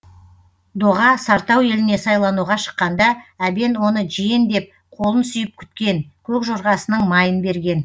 доға сартау еліне сайлануға шыққанда әбен оны жиен деп қолын сүйіп күткен көк жорғасының майын берген